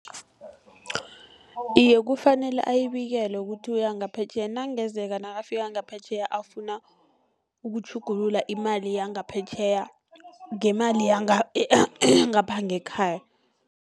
Iye, kufanele ayibikele kuthi uya ngaphetjheya, nakungezeka nakafika ngaphetjheya afuna ukutjhugulula imali yangaphetjheya ngemali yangapha ngekhaya.